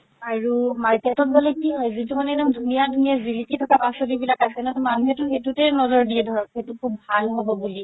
আৰু market ত গ'লে কি হয় যিতো মানে একদম ধুনীয়া ধুনীয়া জিলিকি থকা পাচলি বিলাক আছে ন মানুহেতো সেইটোতে নজৰ দিয়ে ধৰ সেইটো সুব ভাল হ'ব বুলি